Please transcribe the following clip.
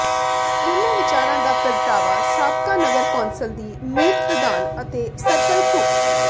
ਇਨ੍ਹਾਂ ਵਿਚਾਰਾਂ ਦਾ ਪ੍ਰਗਟਾਵਾ ਸਾਬਕਾ ਨਗਰ ਕੌਂਸਲ ਦੀ ਮੀਤ ਪ੍ਰਧਾਨ ਅਤੇ ਸਰਕਲ ਘੁ